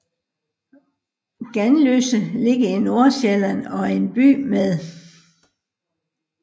Ganløse ligger i Nordsjælland og er en by med